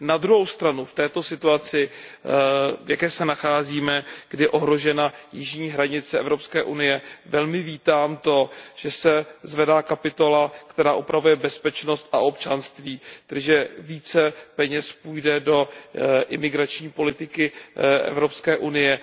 Na druhou stranu, v této situaci, v jaké se nacházíme, kdy je ohrožena jižní hranice Evropské unie, velmi vítám to, že se zvedá kapitola, která upravuje bezpečnost a občanství, takže více peněz půjde do imigrační politiky Evropské unie.